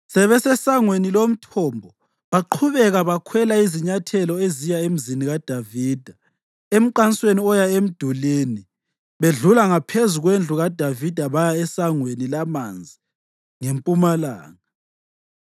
SebeseSangweni loMthombo baqhubeka bakhwela izinyathelo eziya eMzini kaDavida emqansweni oya emdulini bedlula ngaphezulu kwendlu kaDavida baya eSangweni laManzi ngempumalanga.